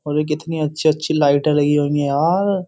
अरे कितनी अच्छी-अच्छी लाइट होंगी यार।